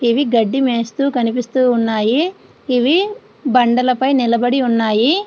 ఇవి గడ్డి మేస్తూ కనిపిస్తున్నాయి. ఇవి బండలపై నిలబడి ఉన్నాయి.